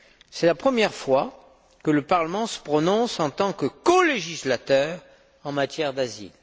C'est la première fois que le Parlement se prononce, en tant que colégislateur, en matière d'asile.